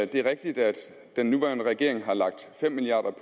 det er rigtigt at den nuværende regering har lagt fem milliard